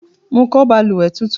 Mo kọ́ balùwẹ́ tuntun